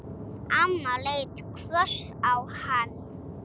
Amma leit hvöss á hann.